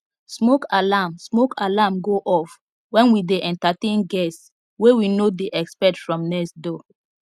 smoke alarm smoke alarm go off when we dey entertain guests wey we no dey expect from next door